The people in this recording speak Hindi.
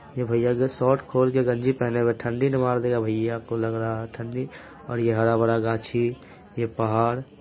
ये भईया जो शॉर्ट खोल के गंजी पहने हुए ठंडी न मार देगा भईया को लग रहा है ठंडी और ये हरा भरा घांची ये पहाड़--